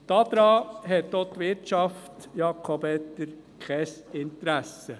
Daran hat auch die Wirtschaft, Jakob Etter, kein Interesse.